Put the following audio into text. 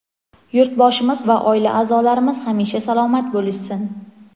yurtboshimiz va oila a’zolarimiz hamisha salomat bo‘lishsin.